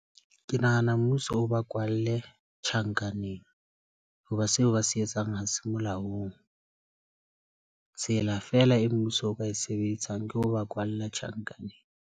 Ke nahana mmuso o ba kwalle tjhankaneng. Ho ba seo ba se etsang ha se molaong. Tsela fela e mmuso o ka e sebetsang ke ho ba kwalle tjhankaneng.